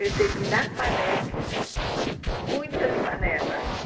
Recebi da Panex muitas panelas.